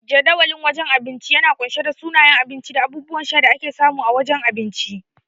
Jadawalin wajen abinci yana kunshe da sunayen abinci da abubuwan sha da ake samu a wajen abinci.